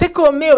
Você comeu?